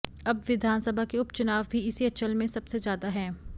अब विधानसभा के उप चुनाव भी इसी अंचल में सबसे ज्यादा हैं